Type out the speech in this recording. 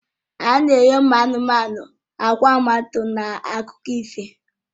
A na-enye ụmụ anụmanụ àgwà mmadụ na akụkọ ifo